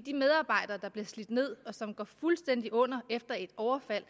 de medarbejdere der bliver slidt ned og som går fuldstændig under efter et overfald